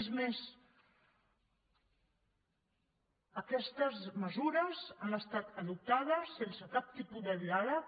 és més aquestes mesures han estat adoptades sense cap tipus de diàleg